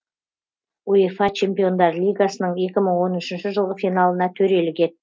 уефа чемпиондар лигасының екі мың он үшінші жылғы финалына төрелік